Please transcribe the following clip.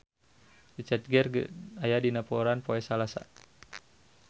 Richard Gere aya dina koran poe Salasa